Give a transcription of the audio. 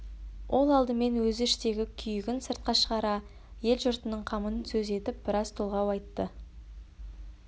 ол алдымен өзі іштегі күйігін сыртқа шығара ел-жұртының қамын сөз етіп біраз толғау айтты